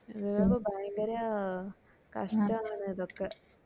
ഭയങ്കര കഷ്ടമാണ് ഇതൊക്കെ